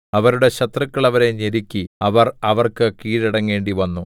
അവരുടെ ശത്രുക്കൾ അവരെ ഞെരുക്കി അവർ അവർക്ക് കീഴടങ്ങേണ്ടിവന്നു